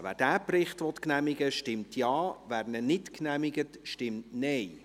Wer diesen Bericht genehmigen will, stimmt Ja, wer diesen nicht genehmigt, stimmt Nein.